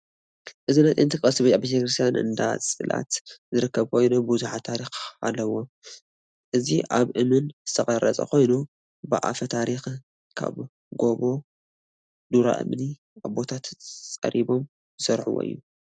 እዚ ናይ ጥንቲ ቅርሲ ኣብ ቤተክርስትያን እንዳፅላት ዝርከብ ኮይኑ ቡዙሕ ታሪክ ዘለዎ እዩ። እዚ ካብ እምን ዝተፀረበ ኮይኑ ብኣፈታሪክ ካብ ጎቦ ዱራ እምኒ ኣቦታትና ፀሪቦም ዝሰርሕዎ እዩ።